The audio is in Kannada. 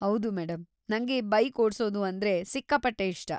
ಹೌದು ಮೇಡಂ, ನಂಗೆ ಬೈಕ್‌ ಓಡ್ಸೋದು ಅಂದ್ರೆ ಸಿಕ್ಕಾಪಟ್ಟೆ ಇಷ್ಟ.